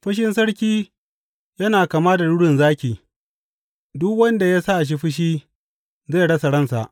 Fushin sarki yana kama da rurin zaki; duk wanda ya sa shi fushi zai rasa ransa.